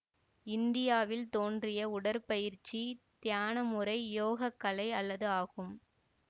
இந்தியாவில் தோன்றிய உடற்பயிற்சி தியான முறை யோகக் கலை அல்லது ஆகும்